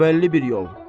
O bəlli bir yol.